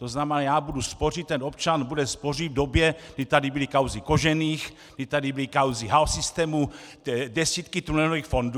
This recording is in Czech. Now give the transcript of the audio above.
To znamená, já budu spořit, ten občan bude spořit v době, kdy tady byly kauzy Kožených, kdy tady byly kauzy H-Systemu, desítky tunelových fondů.